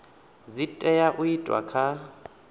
dzi tea u itwa kha